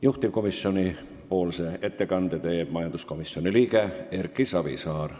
Juhtivkomisjoni nimel teeb ettekande majanduskomisjoni liige Erki Savisaar.